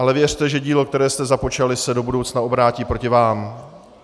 Ale věřte, že dílo, které jste započali, se do budoucna obrátí proti vám.